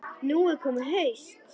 Nú er komið haust.